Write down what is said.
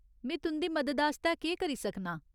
में तुं'दी मदद आस्तै केह् करी सकनां ?